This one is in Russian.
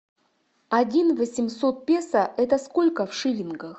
один восемьсот песо это сколько в шиллингах